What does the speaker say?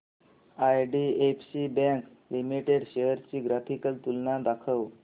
IDFC bank limited shares ची graphical तुलना दाखव